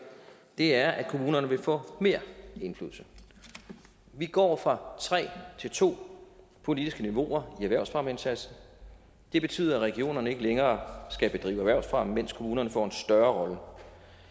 er at kommunerne vil få mere indflydelse vi går fra tre til to politiske niveauer i erhvervsfremmeindsatsen det betyder at regionerne ikke længere skal bedrive erhvervsfremme mens kommunerne får en større